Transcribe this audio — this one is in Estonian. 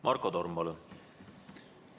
Marko Torm, palun!